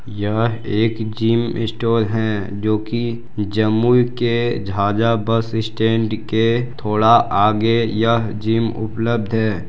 यह एक gym store है जो कि जम्मू के झाझा बस स्टैंड के थोड़ा आगे यह जिम उपलब्ध है।